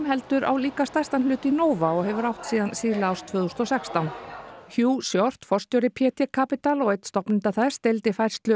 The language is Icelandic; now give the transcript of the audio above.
heldur á líka stærstan hlut í Nova og hefur átt síðan síðla árs tvö þúsund og sextán hugh Short forstjóri p t Capital og einn stofnenda þess deildi færslu